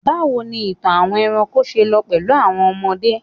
bawo ni ìtàn àwọn eranko se lọ pẹlú àwọn ọmọdé